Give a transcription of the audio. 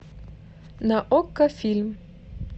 на окко фильм